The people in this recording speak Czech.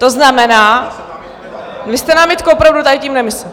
To znamená, vy jste námitku opravdu tady tím nemyslel?